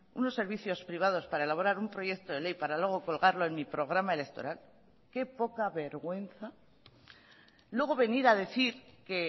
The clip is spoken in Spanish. unos servicios privados para elaborar un proyecto de ley para luego colgarlo en mi programa electoral qué poca vergüenza luego venir a decir que